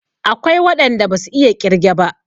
Akwai waɗan da basu iya ƙirge ba.